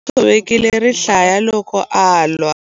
U tshovekile rihlaya loko a lwa.